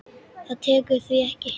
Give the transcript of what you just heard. Það tekur því ekki.